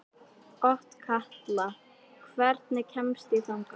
Otkatla, hvernig kemst ég þangað?